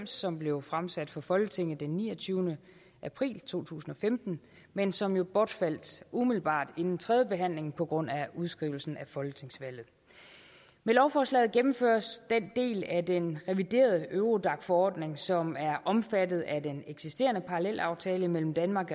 som blev fremsat for folketinget den niogtyvende april to tusind og femten men som jo bortfaldt umiddelbart inden tredje behandling på grund af udskrivelsen af folketingsvalget med lovforslaget gennemføres den del af den reviderede eurodac forordning som er omfattet af den eksisterende parallelaftale mellem danmark